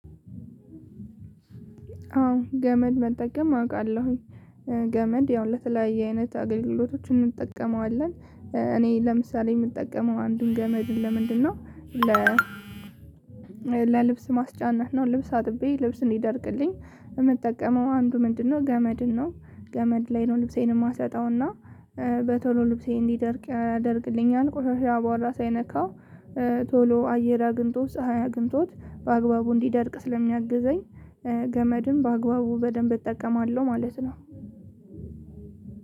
አዎ ገመድ መጠቀም አውቃለሁኝ ገመድ ያው ለተለያየ አይነት አገልግሎቶች እንጠቀመዋለን። እኔ ለምሳሌ የምጠቀመው አንድን ገመድ ለምንድነው? ለ ለልብስ ማስጫነት ነው ልብስ አጥብይ ልብስ እንዲደርቅልኝ። የምጠቀመው አንዱ ምንድነው? ገመድን ነው ገመድ ላይ ነው ልብሴን የማሰጣውና በቶሎ ልብሴ እንዲደርቅ ያደርግልኛል። ቆሻሻ በኋላ ሳይነካ ቶሎ አየር አግኝቶ ፀሀይ አግኝቶት በአግባቡ እንዲደርቅ ስለሚያግዘኝ። ገመድን በአግባቡ በደንብ እጠቀማለሁ ማለት ነው።